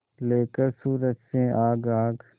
लेकर सूरज से आग आग